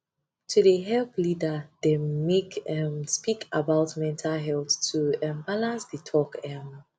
to de help leader dem make um speak about mental health to um balance de talk um